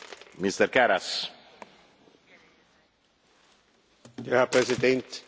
Herr Präsident, wie Sie wissen, sind die Notenbanken unabhängig.